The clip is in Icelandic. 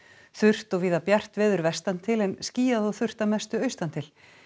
þurrt og víða bjart veður vestan til en skýjað og þurrt að mestu austan til